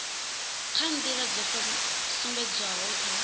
kha nḓila dzo sumbedzwaho kha